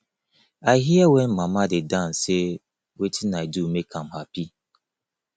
i hear wen mama dey dance say wetin i do make am happy